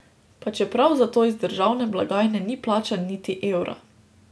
Pa čeprav zato iz državne blagajne ni plačan niti evra.